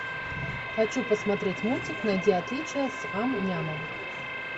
хочу посмотреть мультик найди отличия с ам нямом